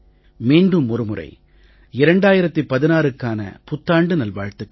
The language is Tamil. மீண்டும் ஒரு முறை 2016க்கான புத்தாண்டு நல்வாழ்த்துக்கள்